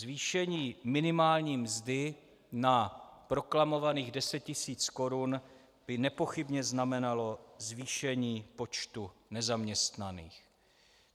Zvýšení minimální mzdy na proklamovaných deset tisíc korun by nepochybně znamenalo zvýšení počtu nezaměstnaných.